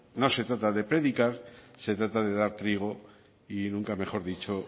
no se trata de predicar se trata de dar trigo y nunca mejor dicho